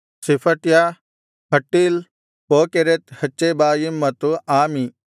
ಶೆಫಟ್ಯ ಹಟ್ಟೀಲ್ ಪೋಕೆರೆತ್ ಹಚ್ಚೆಬಾಯೀಮ್ ಮತ್ತು ಆಮಿ